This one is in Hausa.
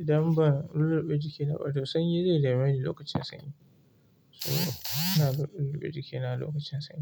idan ba lulluɓe jiki da ado, sanyi zai dame ni lokacin sanyi. So ina bin lulluɓe jikina lokacin sanyi.